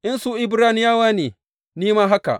In su Ibraniyawa ne, ni ma haka.